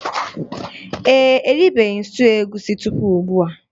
Ee e, eribeghi m stuuyu egusi tupu ugbua